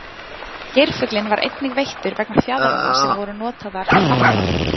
Geirfuglinn var einnig veiddur vegna fjaðranna sem voru notaðar í fatnað.